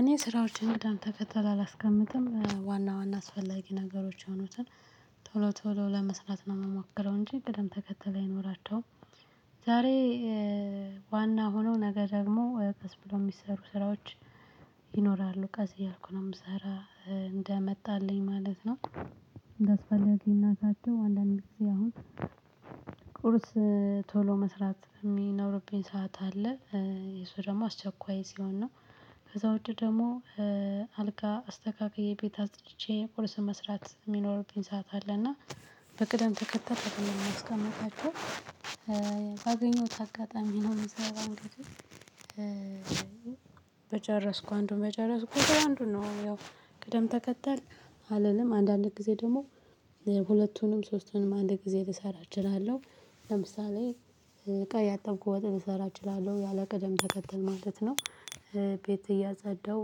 እኔ ስራዎችን ቅደም ተከተል አላስቀምጥም ዋና ዋና አስፈላጊ ነገሮች የሆኑትን ቶሎ ቶሎ ለመስራት ነው የምሞከረው እንጂ ቅደም ተከተል አይኖራቸውም። ዛሬ ዋና ሆኖ ነገ ደግሞ ቀስ ብሎ የሚሰሩ ስራዎች። ይኖራሉ ቀስ እያልኩ ነው የምሰራ እንደመጣልኝ ማለት ነው። እንዳስፈላግነታቸው አንዳንዴ ጊዜ አሁን ቁርስ ቶሎ መስራት የሚኖርብኝ ሰዓት አለ እሱ ደግሞ አስቸኳይ ሲሆን ነው። ከዛ ውጭ ደግሞ አልጋ አስተካክዬ ቤት አጽድቼ ቁርስ መስራት የሚኖርብኝ ሰዓት አለ እና በቅደም ተከተል ነው የሚያስቀምጣቸው። ባገኘሁት አጋጣሚ ቢኖር ይሆን። በጨረስኩ አንዱን በጨረስኩ አንዱን ነው። ያው ቅደም ተከተል አለንም አንዳንድ ጊዜ ደግሞ ሁለቱንም ሶስቱንም አንድ ጊዜ ልሰራ እችላለሁ። ለምሳሌ እቃ እያጠብኩ ወጥ ልሰራ እችላለሁ ያለቀደም ተከተል ማለት ነው። ቤት እያፀደው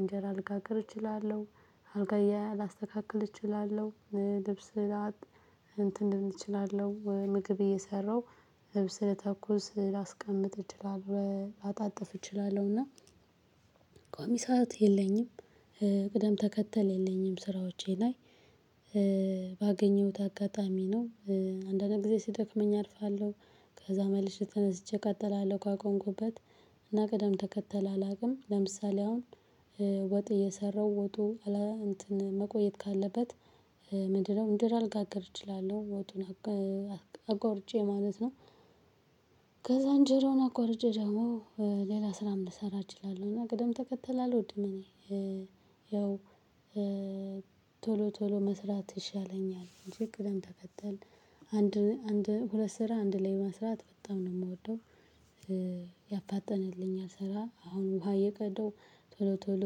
እንጀራ ልጋገር እችላለሁ አልጋ እያለ አላስተካክል እችላለሁ ልብስ ላጥብ እንትን እችላለው ምግብ እየሰራው ልብስ ለተኩስ ላስቀምጥ እችላለሁ አጣጥፍ እችላለሁና። ቆሚ ሰዓት የለኝም ቅደም ተከተል የለኝም። ስራዎቼ ላይ ባገኘሁት አጋጣሚ ነው። አንዳንድ ጊዜ ስደክመኝ አርፋለሁ ከዛ መልሼ ተነስቼ እቀጥላለሁ ካቆምኩበት። እና ቀደም ተከተል አላውቅም። ለምሳሌ አሁን ወጥ እየሰራው ወጡ እንትን መቆየት ካለበት ምንድነው? እንጀራ ልጋግር እችላለሁ ወጡን አቋርጬ ማለት ነው። ከዛ እንጀራውን አቋርጬ ደግሞ ሌላ ስራም ልሰራ እችላለሁ እና ቅደም ተከተል አልወድም። እኔ ያው ቶሎ ቶሎ መስራት ይሻለኛል እንጅ ቅደም ተከተል አንድ ሁለት ስራ አንድ ላይ መስራት በጣም ነው የምወደው። ያፋጠነልኝ አሰራ አሁን ውሃ እየቀደው ቶሎ ቶሎ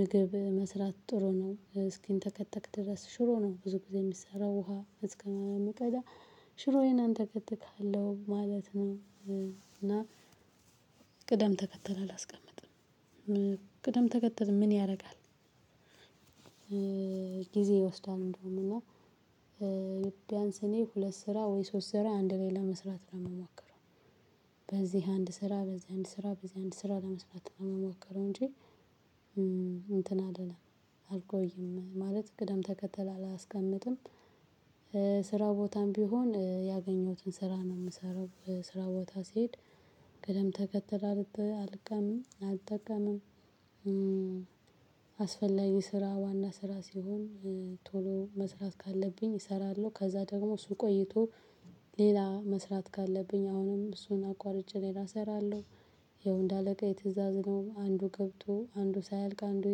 ምግብ መስራት ጥሩ ነው እስኪንተከተክ ድረስ ሽሮ ነው ብዙ ጊዜ የሚሰራው ውሃ እስከምቀዳ ሽሮዬን አንተ እከትካለሁ ማለት ነው። እና ቅደም ተከተል አላስቀምጥም። ቅደም ተከተል ምን ያደርጋል? ጊዜ ይወስዳል እንደውም እና ቢያንስ እኔ ሁለት ስራ ወይ ሶስት ስራ አንድ ላይ ለመስራት ነው የምሞከረው። በዚህ አንድ ስራ በዚህ አንድ ስራ በዚህ አንድ ስራ ለመስራት ነው የምሞከረው እንጂ እንትን አይደለም። አልቆይም ማለት ቅደም ተከተል አላስቀምጥም። ስራ ቦታም ቢሆን ያገኘሁትን ስራ ነው የምሰራው ስራ ቦታ ሲሄድ ቅደም ተከተል አልጠቀምም። አስፈላጊ ስራ ዋና ስራ ሲሆን ቶሎ መስራት ካለብኝ እሰራለሁ ከዛ ደግሞ እሱ ቆይቶ ሌላ መስራት ካለብኝ አሁንም እሱን አቋርጬ ሌላ እሰራለሁ። ይኸው እንደ አለቃ የትእዛዝ ነው አንዱ ገብቶ አንዱ ሳይልቅ አንዱ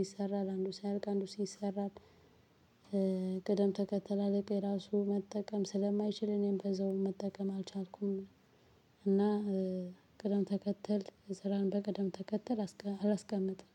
ይሰራል አንዱ ሳይልቅ አንዱ ሲሰራ ቅደም ተከተል አለቀዬ ራሱ መጠቀም ስለማይችል እኔም ከዛው መጠቀም አልቻልኩም። እና ቅደም ተከተል ስራን በቅደም ተከተል አላስቀምጥም